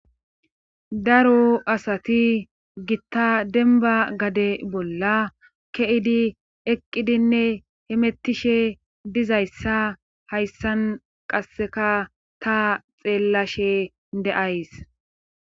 daro asati gitta denba gade bolla ke'idi eqqidinne hemettishe dizayssa hayssan qasseka ta xeellashe de'ays